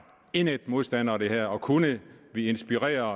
indædt modstandere af det her kunne vi inspirere